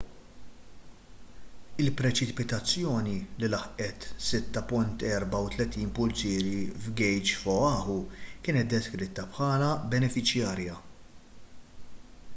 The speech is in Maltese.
il-preċipitazzjoni li laħqet 6.34 pulzieri f'gejġ f'oahu kienet deskritta bħala benefiċjarja